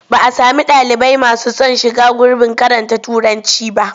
Ba a sami ɗalibai masu son shiga gurbin karanta Turanci ba.